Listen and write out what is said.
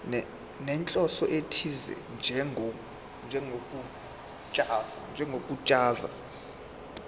nenhloso ethize njengokuchaza